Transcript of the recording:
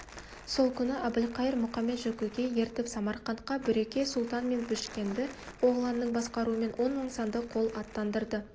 сол күні әбілқайыр мұқамет-жөкіге ертіп самарқантқа бүреке-сұлтан мен бішкенді оғланның басқаруымен он мың санды қол аттандырды